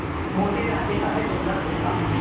मोटे राजा का है दुबला कुत्ता